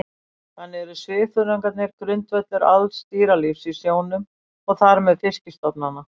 Þannig eru svifþörungarnir grundvöllur alls dýralífs í sjónum og þar með fiskistofnanna.